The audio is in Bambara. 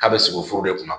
K'a bɛ sogo de kunna